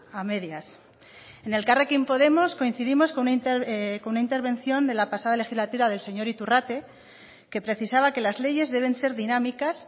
a medias en elkarrekin podemos coincidimos con una intervención de la pasada legislatura del señor iturrate que precisaba que las leyes deben ser dinámicas